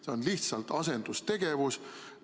See on lihtsalt asendustegevus.